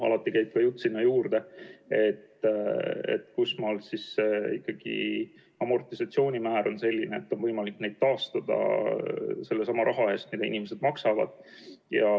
Alati käib sinna juurde jutt, et kusmaal siis ikkagi on amortisatsioonimäär selline, et on võimalik neid taastada raha eest, mida inimesed maksavad.